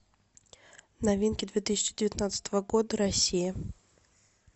новинки две тысячи девятнадцатого года россия